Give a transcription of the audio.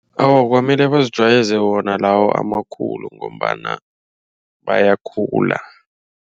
Awa kwamele bazijwayeze wona lawo amakhulu ngombana bayakhuphula.